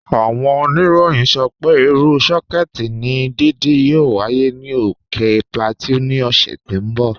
Áwọn ònìrọ̀yìn sọ pé irú sọkè ni dídí yóò wáyé ni ókè Plateau ni òṣè tó n bọ̀.